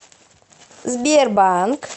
сбербанк